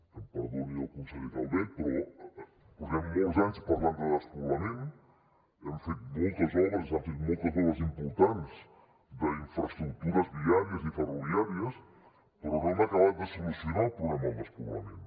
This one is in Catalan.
que em perdoni el conseller calvet però portem molts anys parlant de despoblament hem fet moltes obres s’han fet moltes obres importants d’infraestructures viàries i ferroviàries però no hem acabat de solucionar el problema del despoblament